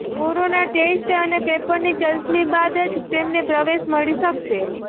corona test અને પેપરની ચલ્સની બાદ જ તેમને પ્રવેશ મળી શકશે